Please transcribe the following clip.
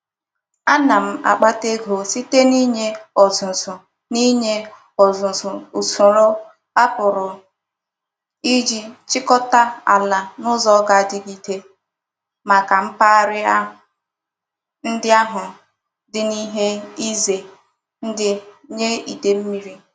Ana m akpata ego site n'inye ozuzu n'inye ozuzu usoro a puru Iji chikota ala n'uzo ga-adigide maka mpaghara ndi ahu di n'ihe ize ndi nye ide mmiri.